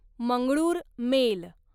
Mangalore mail